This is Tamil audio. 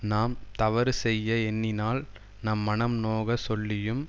நாம் தவறு செய்ய எண்ணினால் நம் மனம் நோகச் சொல்லியும்